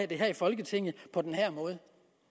det her i folketinget på den her måde